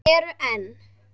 Og eru enn.